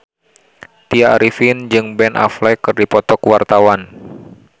Tya Arifin jeung Ben Affleck keur dipoto ku wartawan